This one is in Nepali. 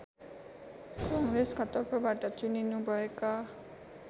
काङ्ग्रेसका तर्फबाट चुनिनुभएका